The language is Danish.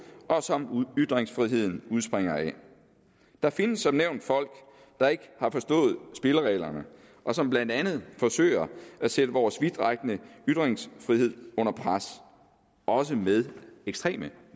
og som ytringsfriheden udspringer af der findes som nævnt folk der ikke har forstået spillereglerne og som blandt andet forsøger at sætte vores vidtrækkende ytringsfrihed under pres også med ekstreme